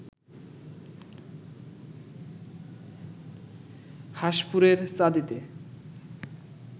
হাঁসপুরের চাঁদিতে